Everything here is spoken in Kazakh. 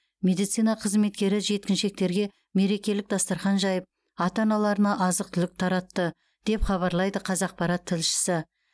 медицина қызметкері жеткіншектерге мерекелік дастархан жайып ата аналарына азық түлік таратты деп хабарлайды қазақпарат тілшісі